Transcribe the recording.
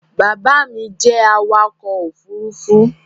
Baba mi jẹ awakọ̀-òfurufú